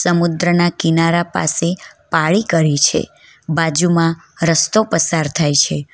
સમુદ્રના કિનારા પાસે પાળી કરી છે બાજુમાં રસ્તો પસાર થાય છે.